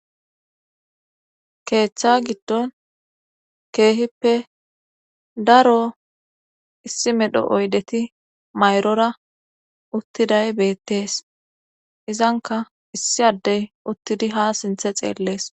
Keeththa giddon keehippe daro issi medho oydeti mayrora uttiday beettees izanka issi addey uttidi ha sinthe xeellees